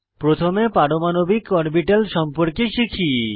প্রথমে পারমাণবিক অরবিটাল সম্পর্কে শিখি